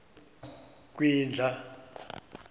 kwindla